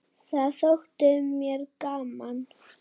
Það þótti mér gaman.